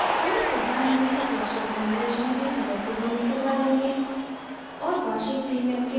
हमने प्रधान मंत्री सुरक्षा बीमा योजना के सदस्य बनने के बारे में